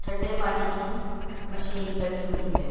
ठंढे पानी की मशीन लगी हुई है।